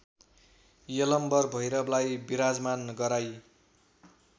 यलम्बर भैरवलाई विराजमान गराई